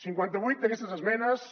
cinquanta vuit d’aquestes esmenes